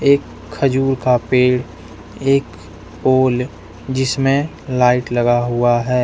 एक खजूर का पेड़ एक पोल जिसमे लाइट लगा हुआ है।